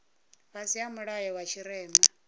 fhasi ha mulayo wa tshirema